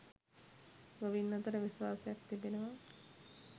ගොවින් අතර විශ්වාසයක් තිබෙනවා.